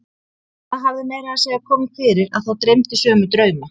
Það hafði meira að segja komið fyrir að þá dreymdi sömu drauma.